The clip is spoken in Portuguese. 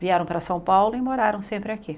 Vieram para São Paulo e moraram sempre aqui.